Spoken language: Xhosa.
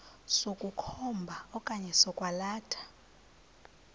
sokukhomba okanye sokwalatha